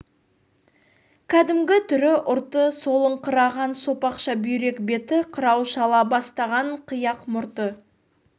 кәдімгі түрі ұрты солыңқыраған сопақша бүйрек беті қырау шала бастаған қияқ мұрты